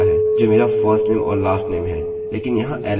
अब यह पुनरावृत्ति है यह यहाँ पर दोहरा वेरिएबल है